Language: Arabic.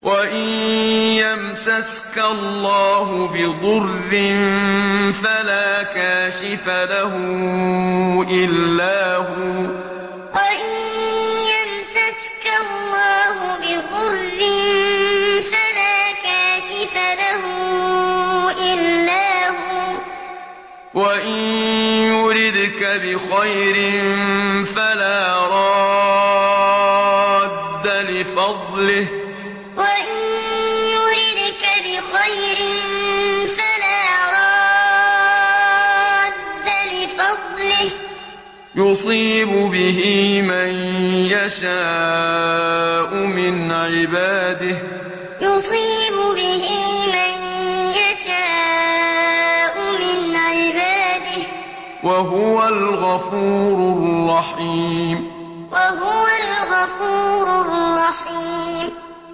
وَإِن يَمْسَسْكَ اللَّهُ بِضُرٍّ فَلَا كَاشِفَ لَهُ إِلَّا هُوَ ۖ وَإِن يُرِدْكَ بِخَيْرٍ فَلَا رَادَّ لِفَضْلِهِ ۚ يُصِيبُ بِهِ مَن يَشَاءُ مِنْ عِبَادِهِ ۚ وَهُوَ الْغَفُورُ الرَّحِيمُ وَإِن يَمْسَسْكَ اللَّهُ بِضُرٍّ فَلَا كَاشِفَ لَهُ إِلَّا هُوَ ۖ وَإِن يُرِدْكَ بِخَيْرٍ فَلَا رَادَّ لِفَضْلِهِ ۚ يُصِيبُ بِهِ مَن يَشَاءُ مِنْ عِبَادِهِ ۚ وَهُوَ الْغَفُورُ الرَّحِيمُ